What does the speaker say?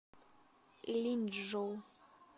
линьчжоу